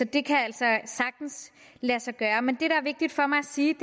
det kan altså sagtens lade sig gøre men det der er vigtigt for mig at sige